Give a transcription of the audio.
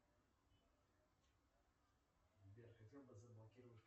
сбер хотел бы заблокировать